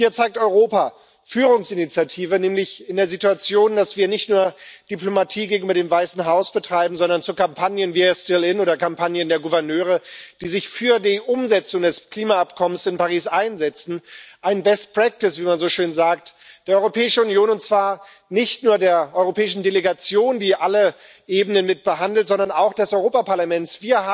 Und hier zeigt Europa Führungsinitiative, nämlich in der Situation, dass wir nicht nur Diplomatie gegenüber dem Weißen Haus betreiben, sondern zu Kampagnen We are still in oder Kampagnen der Gouverneure, die sich für die Umsetzung des Klimaübereinkommens von Paris einsetzen, eine Best Practice, wie man so schön sagt, der Europäischen Union und zwar nicht nur der europäischen Delegation, die alle Ebenen mit behandelt, sondern auch des Europäischen Parlaments.